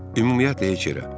Ümumiyyətlə heç yerə.